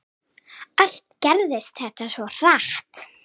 Allt gerðist þetta svo hratt.